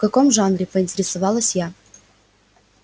в каком жанре поинтересовалась я